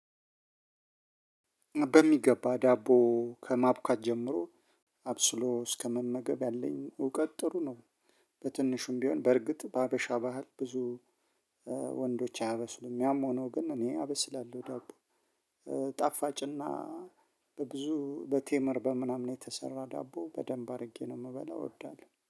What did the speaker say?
በሚገባ ዳቦ ከማብካት ጀምሮ አብስሎ እስከመመገብ ያለኝ እውቀት ጥሩ ነው። በትንሹም ቢሆን በእርግጥ በሀበሻ ባህል ብዙ ወንዶች አያበስሉም ያም ሆኖ ግን እኔ አበስላለሁ ዳቦ ጣፋጭና በብዙ በቴመር በምናምን የተሰራ ዳቦ በደንብ አድርጌ ነው የምበላው እወዳለሁ።